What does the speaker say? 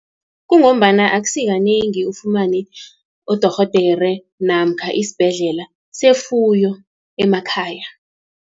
Kungombana akusi kanengi, ufumane udorhodere, namkha isibhedlela sefuyo emakhaya.